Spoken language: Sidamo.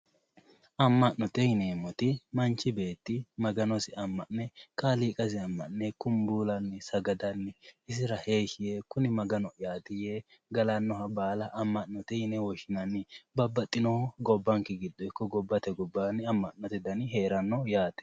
Amma'note yineemmoti manchi beetti maganosi amma'ne kaaliiqasi amma'ne kubbuulanni sagadanni isira heeshshi yaanni kuni maganoho'yati yee galannoha baala amma'note yine woshshinanni. babbaxxinoho gobbanke giddo ikko gobbate gobbaanni amma'note dani hee'ranno yaate